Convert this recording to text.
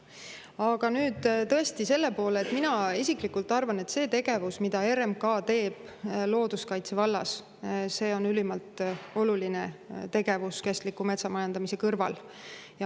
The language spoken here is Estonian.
Aga tõesti, mina isiklikult arvan, et see tegevus, mida RMK teeb looduskaitse vallas, on ülimalt oluline tegevus kestliku metsamajandamise kõrval.